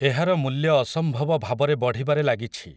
ଏହାର ମୂଲ୍ୟ ଅସମ୍ଭବ ଭାବରେ ବଢ଼ିବାରେ ଲାଗିଛି ।